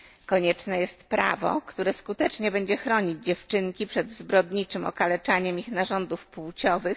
Konieczne jest prawo, które skutecznie będzie chronić dziewczynki przed zbrodniczym okaleczaniem ich narządów płciowych.